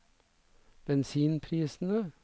bensinprisene